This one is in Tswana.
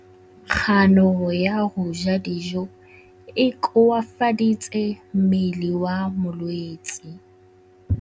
Kganô ya go ja dijo e koafaditse mmele wa molwetse.